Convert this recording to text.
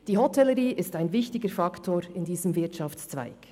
Die Hotellerie ist ein wichtiger Faktor in diesem Wirtschaftszweig.